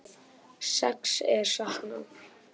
Sex er saknað